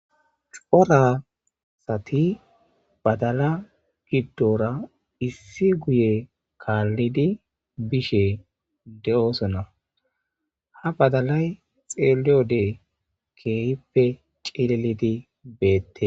Cora asati badalla giddora issi guye kaallidi biishshe de'oosona ha badalay xeeliyode keehippe cililidi beettees